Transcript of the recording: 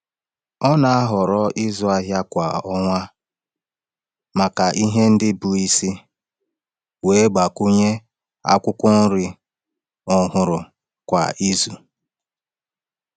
Ọ na-ahọrọ ịzụ ahịa kwa ọnwa maka ihe ndị bụ isi, wee gbakwunye akwụkwọ nri ọhụrụ kwa izu.